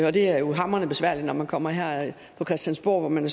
og det er jo hamrende besværlig når man kommer her på christiansborg hvor man